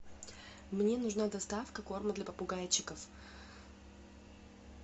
мне нужна доставка корма для попугайчиков